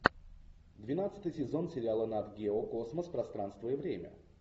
двенадцатый сезон сериала нат гео космос пространство и время